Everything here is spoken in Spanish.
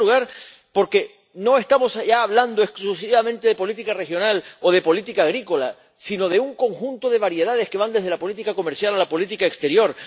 En primer lugar, porque no estamos ya hablando exclusivamente de política regional o de política agrícola, sino de un conjunto de variedades que van desde la política comercial a la política exterior.